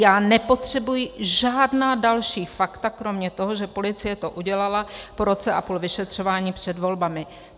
Já nepotřebuji žádná další fakta kromě toho, že policie to udělala po roce a půl vyšetřování před volbami."